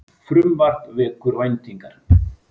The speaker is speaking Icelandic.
Frumvarp vekur væntingar